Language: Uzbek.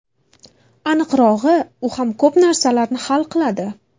Aniqrog‘i, u ham ko‘p narsalarni hal qiladi.